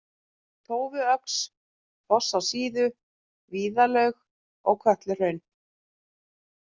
Tófuöxl, Foss á Síðu, Vígðalaug, Kötluhraun